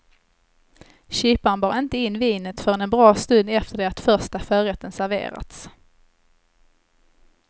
Kyparen bar inte in vinet förrän en bra stund efter det att första förrätten serverats.